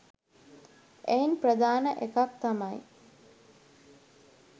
එයින් ප්‍රධාන එකක් තමයි